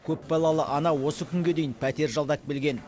көпбалалы ана осы күнге дейін пәтер жалдап келген